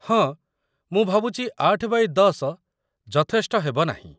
ହଁ, ମୁଁ ଭାବୁଛି ୮ x ୧୦ ଯଥେଷ୍ଟ ହେବ ନାହିଁ ।